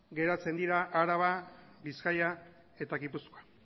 gelditzen dira araba bizkaia eta gipuzkoa